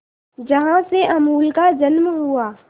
जहां से अमूल का जन्म हुआ